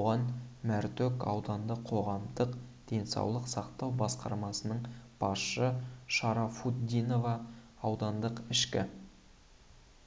оған мәртөк аудандық қоғамдық денсаулық сақтау басқармасының басшысы шарафутдинова аудандық ішкі